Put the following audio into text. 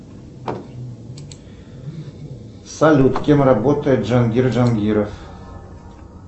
салют кем работает джангир джангиров